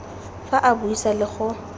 fa a buisa le go